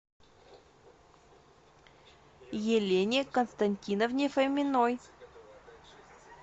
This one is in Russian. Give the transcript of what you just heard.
елене константиновне фоминой